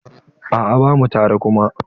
A'a bamu tare kuma.